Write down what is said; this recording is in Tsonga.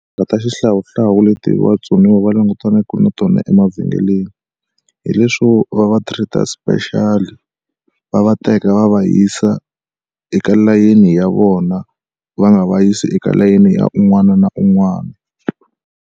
ta xihlawuhlawu leti vatsoniwa va langutanaku na tona emavhengeleni hi leswo va va treat-a special va va teka va va yisa eka layeni ya vona va nga va yisi eka layeni ya un'wana na un'wana.